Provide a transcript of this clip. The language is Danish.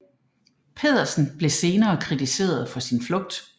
Pedersen blev senere kritiseret for sin flugt